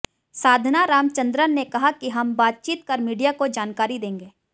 साधना रामचंद्रन ने कहा कि हम बातचीत कर मीडिया को जानकारी देंगे